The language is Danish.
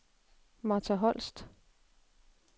Martha Holst